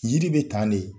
Yiri bɛ tan de